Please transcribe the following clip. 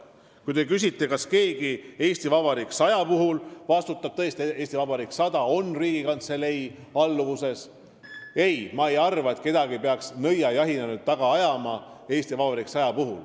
Kui te küsite, kas keegi "Eesti Vabariik 100" toimkonnast vastutab – "Eesti Vabariik 100" toimkond on tõesti Riigikantselei alluvuses –, siis ma ei arva, et kedagi peaks nüüd taga ajama, nõiajahti korraldama.